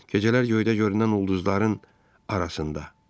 Gecələr göydə görünən ulduzların arasında.